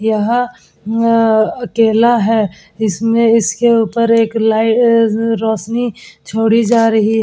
यह अ अकेला है। इसमें इसके उपर एक लाई अ रौशनी छोड़ी जा रही है।